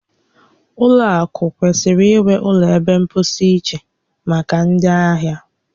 Ụlọ akụ kwesịrị inwe ụlọ ebe mposi iche maka ndị ahịa